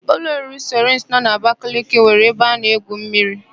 Ụlọ oriri Saịrịns nọ n'Abakaliki nwere ebe a na-egwu mmiri.